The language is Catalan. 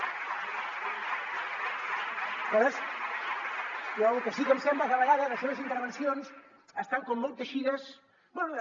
aleshores a mi lo que sí que em sembla és que a vegades les seves intervencions estan com molt teixides bé de